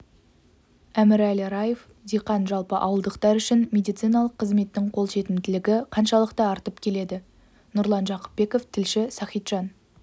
әмірәлі раев диқан жалпы ауылдықтар үшін медициналық қызметтің қолжетімділігі қаншалықты артып келеді нұрлан жақыпбеков тілші сахиджан